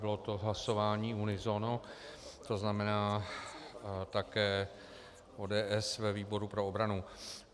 Bylo to hlasování unisono, to znamená také ODS ve výboru pro obranu.